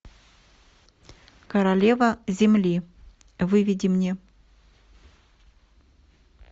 королева земли выведи мне